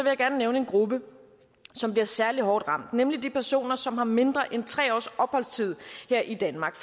jeg gerne nævne en gruppe som bliver særlig hårdt ramt nemlig de personer som har mindre end tre års opholdstid her i danmark